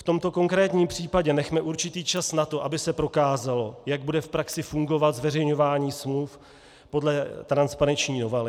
V tomto konkrétním případě nechme určitý čas na to, aby se prokázalo, jak bude v praxi fungovat zveřejňování smluv podle transparenční novely.